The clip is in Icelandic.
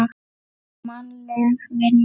Mannleg vinna